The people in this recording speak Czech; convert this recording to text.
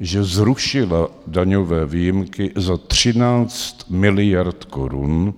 že zrušila daňové výjimky za 13 miliard korun.